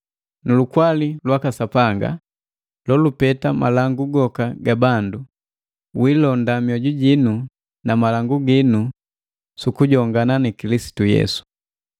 Nulukwali lwaka Sapanga, jejipeta malangu goka ga bandu, janndenda mioju jinu na malangu ginu sukujongana na Kilisitu Yesu.